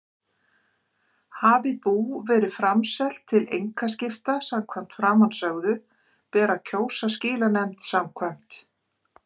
Hafi bú verið framselt til einkaskipta samkvæmt framansögðu ber að kjósa skilanefnd samkvæmt